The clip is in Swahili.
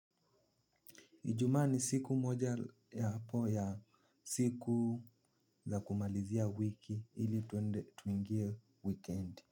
Ijumaa ni siku moja ya po ya siku ya kumalizia wiki ili tuende tuingie weekend.